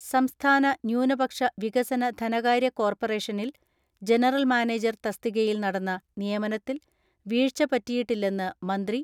സംസ്ഥാന ന്യൂനപക്ഷ വികസന ധനകാര്യ കോർപ്പറേഷനിൽ ജനറൽ മാനേജർ തസ്തികയിൽ നടന്ന നിയമനത്തിൽ വീഴ്ചപ റ്റിയിട്ടില്ലെന്ന് മന്ത്രി